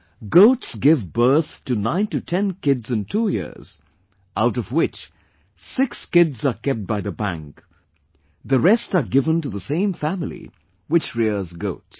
Goats give birth to 9 to 10 kids in 2 years, out of which 6 kids are kept by the bank, the rest are given to the same family which rears goats